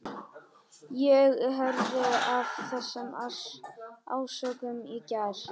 Ég heyrði af þessum ásökunum í gær.